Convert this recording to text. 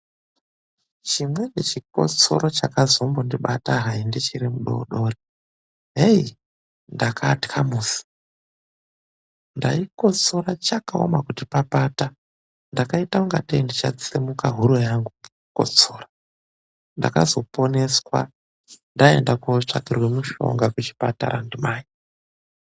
Chimweni chikotsoro chakazombondibata hai ndichiri mwana mudodori heyi, ndakatya musi. Ndaikotsora, chakaoma kuti papata ndakaita ungatei ndichatsemuke huro yangu ngekukotsora .Ndakazoponeswa ndaenda kotsvakirwe mushoga kuchipatara ndimai.